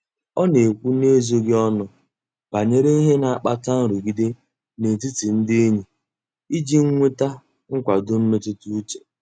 Ọ na-ekwu n'ezoghị ọnụ banyere ihe na-akpata nrụgide n'etiti ndị enyi iji nweta nkwado mmetụta uche.